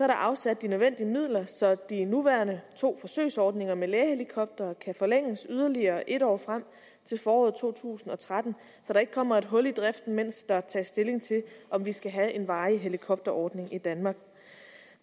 der afsat de nødvendige midler så de nuværende to forsøgsordninger med lægehelikoptere kan forlænges yderligere et år frem til foråret to tusind og tretten så der ikke kommer et hul i driften mens der tages stilling til om vi skal have en varig helikopterordning i danmark